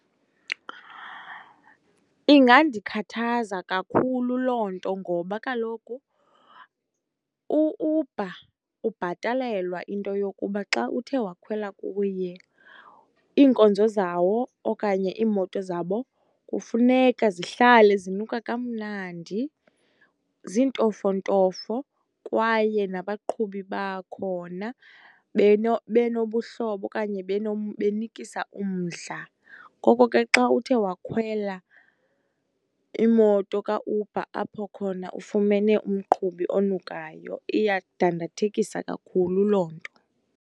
Ingandikhathaza kakhulu loo nto ngoba kaloku u-Uber ubhatalelwa into yokuba xa uthe wakhwela kuye, iinkonzo zawo okanye iimoto zabo kufuneka zihlale zinuka kamnandi, zintofontofo kwaye nabaqhubi bakhona benobuhlobo okanye benikisa umdla. Ngoko ke xa uthe wakhwela imoto kaUber apho khona ufumene umqhubi onukayo, iyadandathekisa kakhulu loo nto.